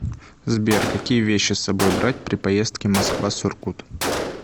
сбер какие вещи с собой брать при поездки москва сургут